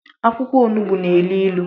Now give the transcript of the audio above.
akwụkwọ onugbu n'ilu ilu.